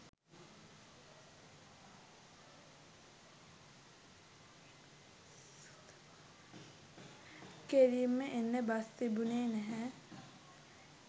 කෙළින්ම එන්න බස් තිබුණේ නැහැ